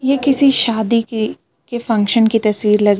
ये किसी शादी की के फंक्शन की तस्वीर लग रही --